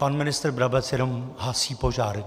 Pan ministr Brabec jenom hasí požár.